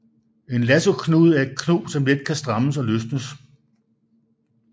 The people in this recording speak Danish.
En lassoknude er et knob som let kan strammes og løsnes